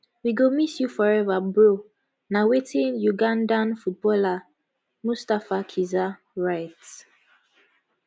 we go miss you forever bro na wetin ugandan footballer mustafa kizza write